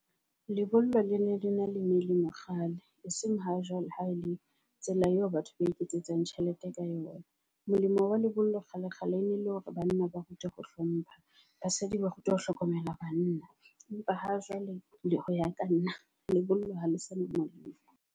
Lebollo le ne le na le melemo kgale e seng ha jwale ha e le tsela eo batho ba iketsetsang tjhelete ka yona. Molemo wa lebollo kgale kgale e ne le hore banna ba rutwe ho hlompha. Basadi ba rutwe ho hlokomela bana. Empa ha jwale le ho ya ka nna lebollo ha le sena molemo.